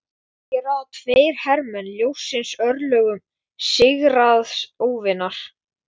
Hér ráða tveir hermenn ljóssins örlögum sigraðs óvinar.